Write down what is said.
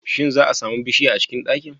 Shin za'a sami bushiya a cikin ɗakin?